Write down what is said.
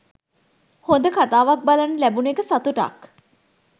හොඳ කතාවක් බලන්න ලැබුන එක සතුටක්.